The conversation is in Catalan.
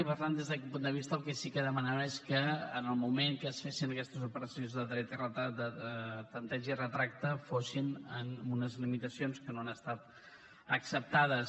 i per tant des d’aquest punt de vista el que sí que demanem és que en el moment que es fessin aquestes operacions de dret de tempteig i retracte fos amb unes limitacions que no han estat acceptades